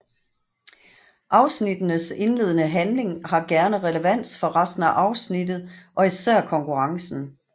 Afsnittenes indledende handling har gerne relevans for resten afsnittet og især konkurrencen